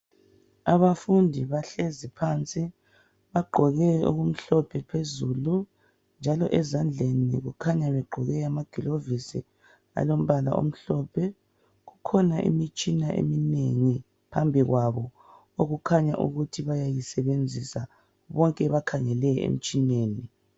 Abafundi bahlezi phansi, bagqoke okumhlophe phezulu. Njalo ezandleni kukhanya begqoke amagilovisi alombala omhlophe. Kukhona imitshina eminengi phambi kwabo okukhanya ukuthi bayayisebenzisa. Bonke bakhangele emtshineni.